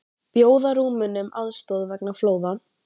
Bjóða Rúmenum aðstoð vegna flóða